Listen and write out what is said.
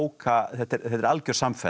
algjör samfella